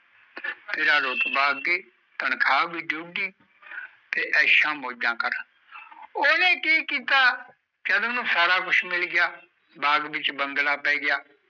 ਤੇਰਾ ਰੁਤਮ ਅਗੇ ਤਿਖਾਵ ਬੀ ਡੁਗੀ ਐਸ਼ ਮਿਜ ਕਰ ਉਨੇ ਕਿ ਕੀਤਾ ਜਦ ਉਣੋ ਸਬ ਕੁਜ ਮਿਲ ਗਯਾ ਬਾਗ ਵੀ ਬਾਦਲਾਂ ਪੈ ਗਯਾ